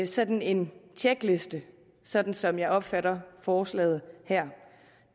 sådan en tjekliste sådan som jeg opfatter forslaget her